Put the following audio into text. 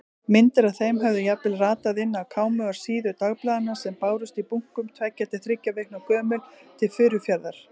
Myndir af þeim höfðu jafnvel ratað inn á kámugar síður dagblaðanna sem bárust í bunkum, tveggja til þriggja vikna gömul, til Furufjarðar.